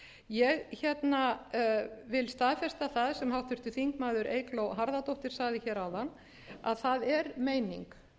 ég vil staðfesta það sem háttvirtur þingmaður eygló harðardóttir sagði hér áðan að það er meining